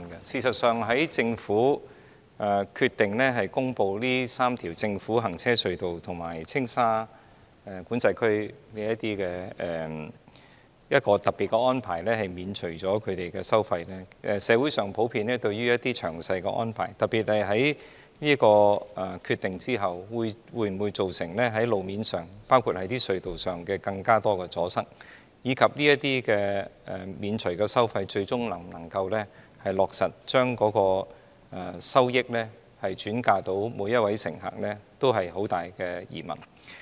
事實上，在政府決定公布這3條政府行車隧道和青馬及青沙管制區的一個特別安排，即免除專營巴士的收費後，社會上普遍對於有關安排，特別是之後會否造成更多路面和隧道阻塞的情況，以及巴士公司獲豁免這些收費後，最終會否落實將有關收益惠及每一位乘客存在很大疑問。